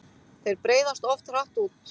Þeir breiðast oft hratt út.